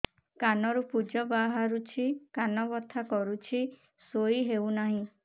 କାନ ରୁ ପୂଜ ବାହାରୁଛି କାନ ବଥା କରୁଛି ଶୋଇ ହେଉନାହିଁ